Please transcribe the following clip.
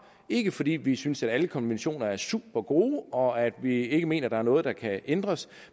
ikke fordi vi synes at alle konventioner er supergode og at vi ikke mener at der er noget der kan ændres